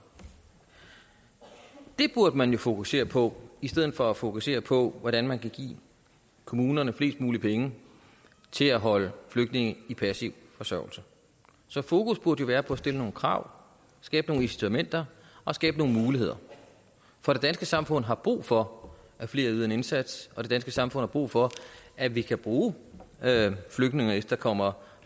det burde man jo fokusere på i stedet for at fokusere på hvordan man kan give kommunerne flest mulige penge til at holde flygtninge i passiv forsørgelse så fokus burde jo være på at stille nogle krav skabe nogle incitamenter og skabe nogle muligheder for det danske samfund har brug for at flere yder en indsats det danske samfund har brug for at vi kan bruge flygtninge og efterkommere